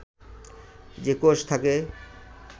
যে কোষ থাকে